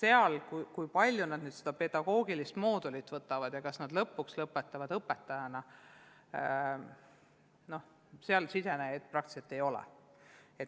Erialadele, kus peaks ka pedagoogilise mooduli läbima ja lõpuks õpetajana lõpetama, sisenejaid praktiliselt ei ole.